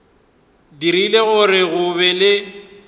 dirile gore go be le